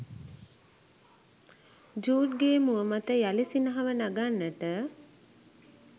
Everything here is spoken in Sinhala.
ජූඩ්ගේ මුව මත යළි සිනහව නගන්නට